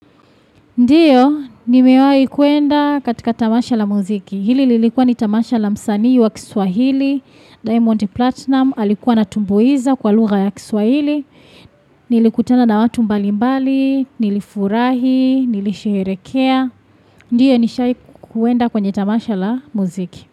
Ndio, nimewahi kuenda katika tamasha la muziki. Hili lilikuwa ni tamasha la msanii wa kiswahili, Diamond Platinum, alikuwa anatumbuiza kwa lugha ya kiswahili. Nilikutana na watu mbalimbali, nilifurahi, nilisherehekea. Ndio, nishaikuenda kwenye tamasha la muziki.